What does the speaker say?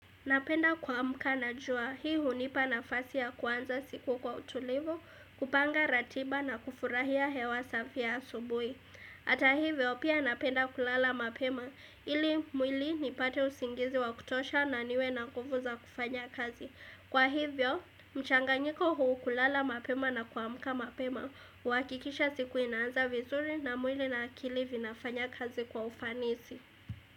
Napenda kuamka na jua, hii hunipa nafasi ya kuanza siku kwa utulivu, kupanga ratiba na kufurahia hewa safia ya asubuhi. Hata hivyo, pia napenda kulala mapema, ili mwili ni pate usingizi wa kutosha na niwe na nguvu za kufanya kazi. Kwa hivyo, mchangangiko huu kulala mapema na kuamka na mapema, huhakikisha siku inanza vizuri na mwili na akili zinafanya kazi kwa ufanisi.